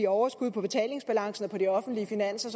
at overskud på betalingsbalancen og på de offentlige finanser